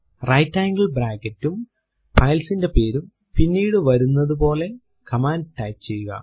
right angle bracket ഉം file ന്റെ പേരും പിന്നീടു വരുന്നത് പോലെ കമാൻഡ് ടൈപ്പ് ചെയ്യുക